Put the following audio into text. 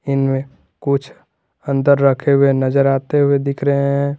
इनमें कुछ अंदर रखे हुए नजर आते हुए दिख रहे हैं।